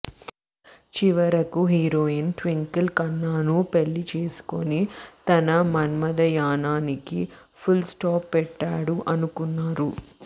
చివరకు హీరోయిన్ ట్వింకిల్ ఖన్నాను పెళ్లి చేసుకొని తన మన్మధయాణానికి ఫుల్ స్టాప్ పెట్టాడు అనుకున్నారు